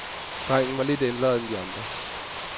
Drengen var lidt ældre end de andre.